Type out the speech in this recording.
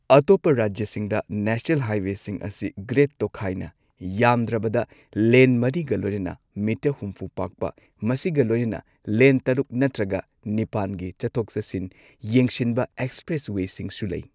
ꯑꯇꯣꯞꯄ ꯔꯥꯖ꯭ꯌꯁꯤꯡꯗ ꯅꯦꯁꯅꯦꯜ ꯍꯥꯏꯋꯦꯁꯤꯡ ꯑꯁꯤ ꯒ꯭ꯔꯦꯗ ꯇꯣꯛꯈꯥꯏꯅ, ꯌꯥꯝꯗ꯭ꯔꯕꯗ ꯂꯦꯟ ꯃꯔꯤꯒ ꯂꯣꯏꯅꯅ ꯃꯤꯇꯔ ꯍꯨꯝꯐꯨ ꯄꯥꯛꯄ, ꯃꯁꯤꯒ ꯂꯣꯏꯅꯅ ꯂꯦꯟ ꯇꯔꯨꯛ ꯅꯠꯇ꯭ꯔꯒ ꯅꯤꯄꯥꯟꯒꯤ ꯆꯠꯊꯣꯛ ꯆꯠꯁꯤꯟ ꯌꯦꯡꯁꯤꯟꯕ ꯑꯦꯛꯁꯄ꯭ꯔꯦꯁꯋꯦꯁꯤꯡꯁꯨ ꯂꯩ꯫